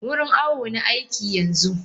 Wurin awo na aiki yanzu.